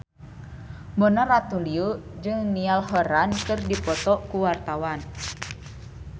Mona Ratuliu jeung Niall Horran keur dipoto ku wartawan